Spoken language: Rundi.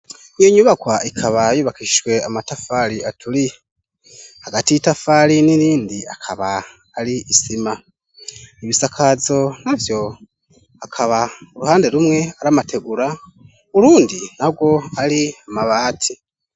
Iyo nyubakwa ikaba yubakishwe amatafari aturiye, hagati y'itafari nirindi akaba ari isima ibisakazo navyo akaba uruhande rumwe aramategura ,urundi narwo ari amabati.